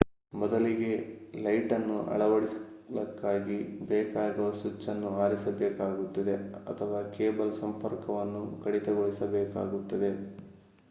ಮೊದಲಿಗೆ ಲೈಟನ್ನು ಅಳವಡಿಸಲಿಕ್ಕಾಗಿ ಬೇಕಾಗುವ ಸ್ವಿಚ್ಚನ್ನು ಆರಿಸಬೇಕಾಗುತ್ತದೆ ಅಥವಾ ಕೇಬಲ್ ಸಂಪರ್ಕವನ್ನು ಕಡಿತಗೊಳಿಸಬೇಕಾಗುತ್ತದೆ